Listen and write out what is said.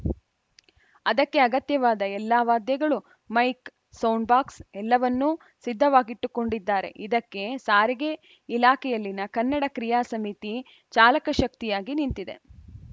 ಅದಕ್ಕೆ ಅಗತ್ಯವಾದ ಎಲ್ಲ ವಾದ್ಯಗಳು ಮೈಕ್‌ ಸೌಂಡಬಾಕ್ಸ್‌ ಎಲ್ಲವನ್ನೂ ಸಿದ್ಧವಾಗಿಟ್ಟುಕೊಂಡಿದ್ದಾರೆ ಇದಕ್ಕೆ ಸಾರಿಗೆ ಇಲಾಖೆಯಲ್ಲಿನ ಕನ್ನಡ ಕ್ರಿಯಾ ಸಮಿತಿ ಚಾಲಕಶಕ್ತಿಯಾಗಿ ನಿಂತಿದೆ